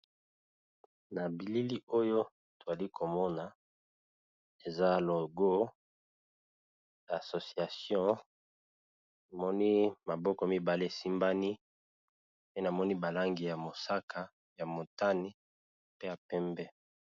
Na bilili oyo toali komona eza logo ya association namoni maboko mibale esimbani pe namoni ba langi ya mosaka ya motani pe ya pembe.